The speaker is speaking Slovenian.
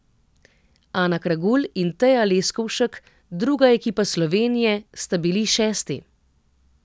Ana Kragulj in Teja Leskovšek, druga ekipa Slovenije, sta bili šesti.